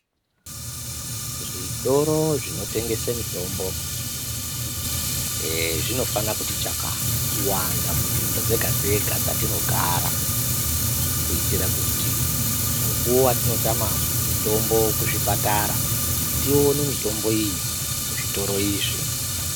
Zvitoro zvinotengese mitombo zvinofana kuti chakata kuwanda munzvimbo dzega-dzega dzatinogara. Kuitira kuti mukuvo vatinotama mitombo kuzvipatara tione mitombo iyi kuzvitoro izvi.